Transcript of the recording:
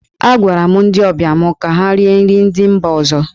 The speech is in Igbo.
Agwara m ndị ọbịa mụ ka ha rie nri ndị mba ọzọ.